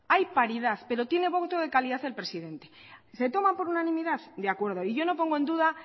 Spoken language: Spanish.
hay paridad pero tiene voto de calidad el presidente que se toman por unanimidad de acuerdo y yo no pongo en duda